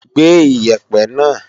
Gbé Iyẹ̀pẹ̀ náà!